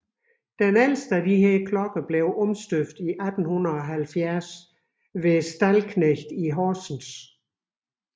Den ældste af disse klokker blev omstøbt i 1870 hos Stallknecht i Horsens